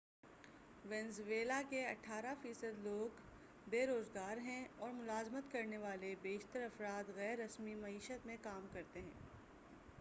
Venezuela کے اٹھارہ فیصد لوگ بے روزگار ہیں اور ملازمت کرنے والے بیشتر افراد غیر رسمی معیشت میں کام کرتے ہیں